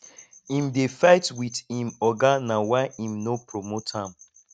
im dey fight wit im oga na why im no promote am